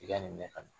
I ka nin mɛn ka na